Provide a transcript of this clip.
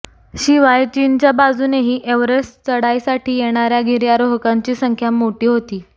शिवाय चीनच्या बाजूनेही एव्हरेस्ट चढाईसाठी येणाऱया गिर्यारोहकांची संख्या मोठी होती